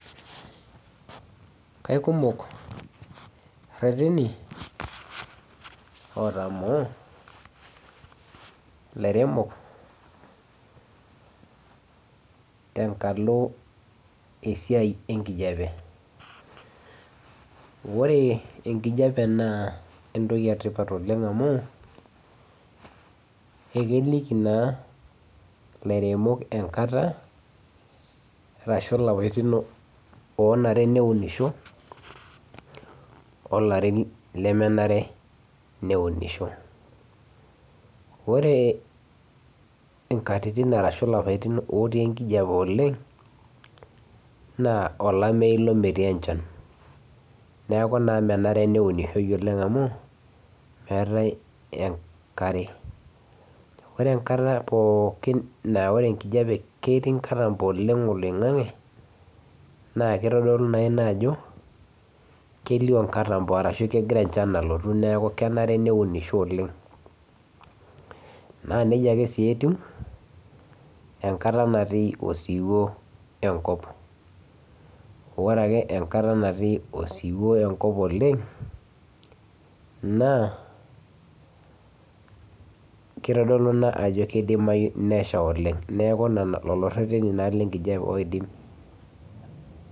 Kikumok ireteni otamol ilairemok, tenkalo esiai enkijiape. ore enkijiape naa entoki etipat oleng amu, ekiliki naa ilairemok enkata, ashu ilarin oolare neunisho ilarin lemenare neunisho. ore nkatitin arashu ilapaitin otii enkijiape oleng, naa olameyu ilo metii enchan neeku naa menare ilo neunishoi oleng amu eetae enkare. ore enkata pookin naa ore enkijiape ketii nkatampo oleng oloingang'e, naa kitodolu naa Ina ajo kelio nkatampo ashu kenare neunishoi oleng. naa nejia ake sii etiu, enkata natii osiwuo enkop. ore ake enkata natii osiwuo enkop oleng naa, kitodolu Ina ajo kidimayu nesha oleng